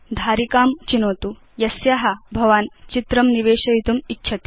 धारिकां चिनोतु यस्या भवान् चित्रं निवेशयतुम् इच्छति